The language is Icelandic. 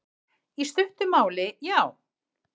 Í stuttu máli, já.